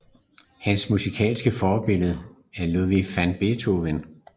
Hans musikalske forbillede er Ludwig van Beethoven